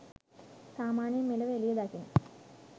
සාමාන්‍යයෙන් මෙලොව එළිය දකින